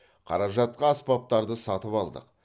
қаражатқа аспаптарды сатып алдық